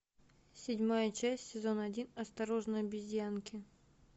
седьмая часть сезон один осторожно обезьянки